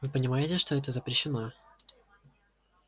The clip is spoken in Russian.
вы понимаете что это запрещено